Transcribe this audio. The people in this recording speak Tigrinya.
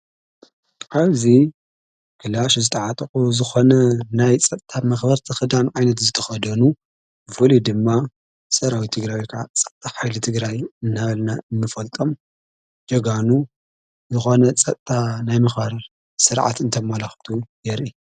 ዓብዙ ክላሽ ዝተዓጠቁ ዝኾነ ናይ ጸጥታ መኽበርቲ ኽዳን ዓይነት ዝተኸደኑ ብፍሉይ ድማ ሠራዊት ትግራይ ጸጥታ ሓይሊ ትግራይ እናበልና እንፈልጦም ጀጋኑ ዝኾነ ጸጥታ ናይ ምክባር ሥርዓት እንተመላኽቱ የርኢ።